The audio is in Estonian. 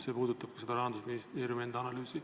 See puudutab ka seda Rahandusministeeriumi enda analüüsi.